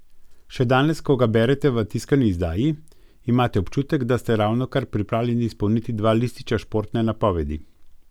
Še danes, ko ga berete v tiskani izdaji, imate občutek, da ste ravnokar pripravljeni izpolniti dva lističa športne napovedi.